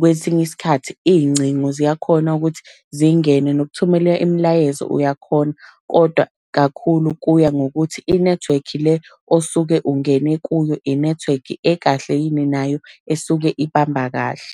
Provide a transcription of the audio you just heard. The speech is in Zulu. kwesinye isikhathi iy'ncingo ziyakhona ukuthi zingene. Nokuthumela imilayezo uyakhona, kodwa kakhulu kuya ngokuthi inethiwekhi le osuke ungene kuyo inethiwekhi ekahle yini nayo esuke ibamba kahle.